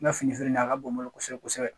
N ka fini filɛ ni yen, a ka bon n bolo kosɛbɛ kosɛbɛ.